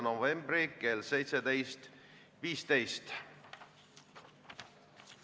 Reformierakonna fraktsioon palub seda muudatusettepanekut hääletada.